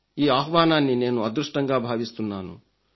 ఈ ఆహ్వానాన్ని నేను అదృష్టంగా భావిస్తున్నాను